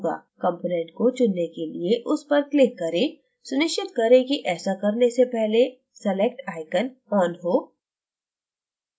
component को चुनने के लिए उस पर click करें सुनिश्चित करें कि ऐसा करने से पहले select icon on हो